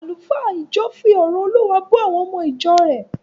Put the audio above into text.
Àlùfáà ìjọ fi ọ̀rọ̀ Olúwa bọ́ àwọn ọmọ ìjọ rẹ̀